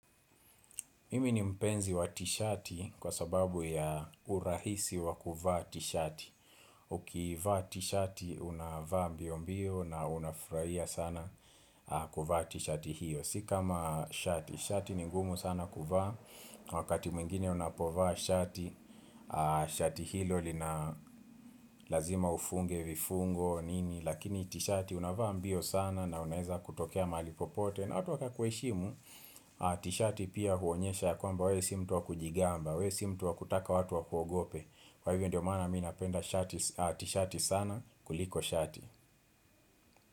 Mimi ni mpenzi wa t-shati kwa sababu ya urahisi wa kuvaa t-shati Ukivaa t-shati unavaa mbiombio na unafurahia sana kuvaa t-shati hiyo. Si kama shati, shati ni ngumu sana kuvaa Wakati mwingine unapovaa shati, shati hilo lina lazima ufunge vifungo nini lakini t-shati unavaa mbio sana na unaweza kutokea mahali popote na watu wakakuheshimu. T-shati pia huonyesha ya kwamba wewe si mtu wa kujigamba wewe si mtu wa kutaka watu wakuogope Kwa hivyo ndio maana mimi napenda t-shati sana kuliko shati.